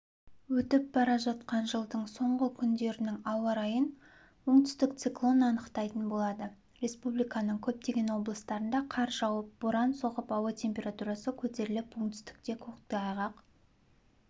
өтіп бара жатқан жылдың соңғы күндерінің ауа-райын оңтүстік циклон анықтайтын болады республиканың көптеген облыстарында қар жауып боран соғып ауа температурасы көтеріліп оңтүстікте көктайғақ